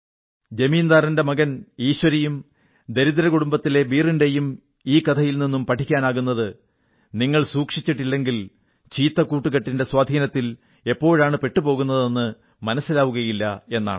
ജമീന്ദാറുടെ മകൻ ഈശ്വരിയും ദരിദ്ര കുടുംബത്തിലെ ബീർ ന്റെയും ഈ കഥയിൽ നിന്നും പഠിക്കാനാകുന്നത് നിങ്ങൾ സൂക്ഷിച്ചില്ലെങ്കിൽ ചീത്ത കൂട്ടുകെട്ടിന്റെ സ്വാധീനത്തിൽ എപ്പോഴാണ് പെട്ടുപോകുന്നത് മനസ്സിലാവുകയില്ല എന്നാണ്